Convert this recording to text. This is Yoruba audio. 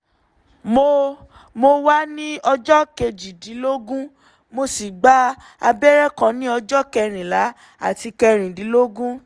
mo mo wà ní ọjọ́ kejìdínlógún mo sì gba abẹ́rẹ́ kan ní ọjọ́ kẹrìnlá àti kẹrìndínlógún